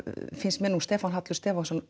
finnst mér nú Stefán Hallur Stefánsson